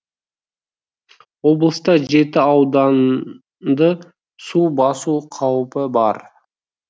облыста жеті ауданды су басу қаупі бар